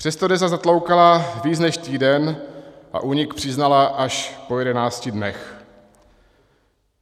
Přesto DEZA zatloukala víc než týden a únik přiznala až po jedenácti dnech.